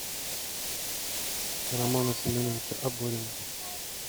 романа семеновича оборина